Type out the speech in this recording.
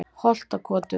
Holtakotum